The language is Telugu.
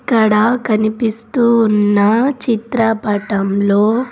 ఇక్కడ కనిపిస్తూ ఉన్న చిత్రపటంలో --